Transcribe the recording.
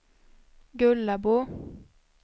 Gullabo